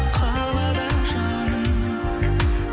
қалады жаным